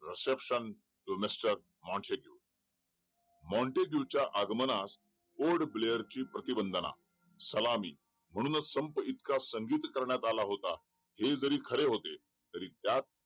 reception to mister Montesquieu Montesquieu च्या आगमनास ऑड ब्लेअर ची प्रतिबंदांना सलामी म्हणूनच संप इतका संघिन करण्यात आला होता हे जरी खरं होते तरी त्या